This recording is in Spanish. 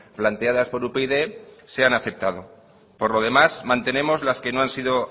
planteadas por upyd se han aceptado por lo demás mantenemos las que no han sido